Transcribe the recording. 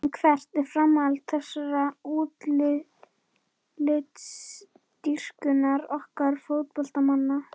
En hvert er framhald þessarar útlitsdýrkunar okkar fótboltamanna?